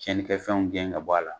Tiɲɛnikɛ fɛnw gɛn ka bɔ a la